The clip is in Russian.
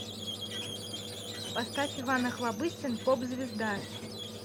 поставь иван охлобыстин поп звезда